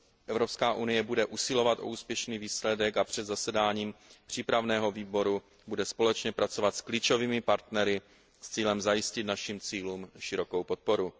Evropská unie bude usilovat o úspěšný výsledek a před zasedáním přípravného výboru bude společně pracovat s klíčovými partnery s cílem zajistit našim cílům širokou podporu.